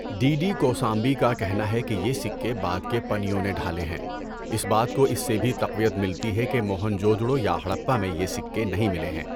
D D Kosambi کا کہنا ہے کہ یہ سکے بعد کے پنیوں نے ڈھالے ہیں۔ اس بات کو اس سے بھی تقویت ملتی ہے کہ موہنجودڑو یا ہڑپہ میں یہ سکے نہیں ملے ہیں۔